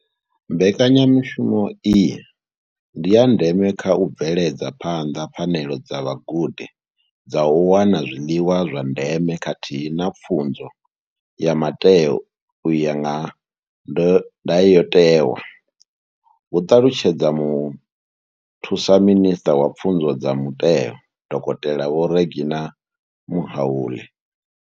Mbekanyamushumo iyi ndi ya ndeme kha u bveledza phanḓa pfanelo dza vhagudi dza u wana zwiḽiwa zwa ndeme khathihi na pfunzo ya mutheo u ya nga ndayotewa, hu ṱalutshedza muthusa minisṱa wa Pfunzo dza muteo, dokotela Vho Reginah Mhaule.